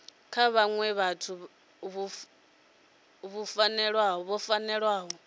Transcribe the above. kha vhaṅwe vhathu vhu fanela